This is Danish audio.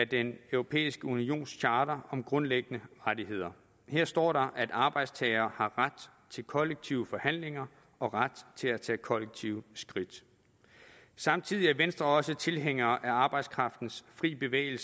den europæiske unions charter om grundlæggende rettigheder her står der at arbejdstagere har ret til kollektive forhandlinger og ret til at tage kollektive skridt samtidig er venstre også tilhænger af arbejdskraftens fri bevægelighed